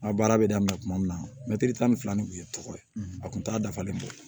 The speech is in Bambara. N ka baara bɛ daminɛ kuma min na mɛtiri tan ni fila nin tun ye tɔgɔ ye a tun t'a dafalen bɔ